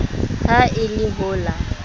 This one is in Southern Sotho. ha e le ho la